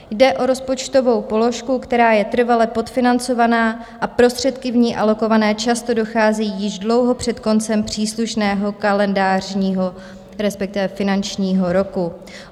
Jde o rozpočtovou položku, která je trvale podfinancovaná a prostředky v ní alokované často docházejí již dlouho před koncem příslušného kalendářního, respektive finančního roku.